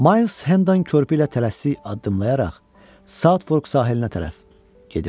Miles Hendon körpüylə tələsik addımlayaraq Southwork sahilinə tərəf gedirdi.